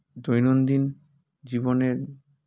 দৈনন্দিন জীবনের